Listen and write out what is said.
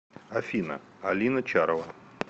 афина алина чарова